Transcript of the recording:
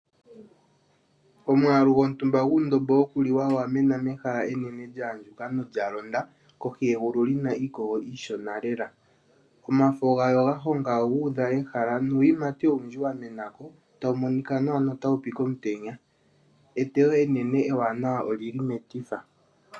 Omwaalu gontumba guundombo wokuliwa owa mena mehala enene lya andjuka nolya londa kohi yegulu lina iikogo